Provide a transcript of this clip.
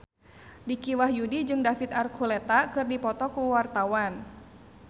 Dicky Wahyudi jeung David Archuletta keur dipoto ku wartawan